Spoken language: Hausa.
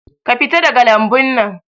Ka fita daga lambun nan